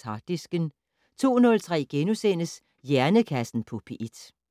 Harddisken * 02:03: Hjernekassen på P1 *